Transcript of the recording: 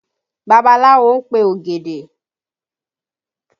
Babaláwo ń pe ògèdè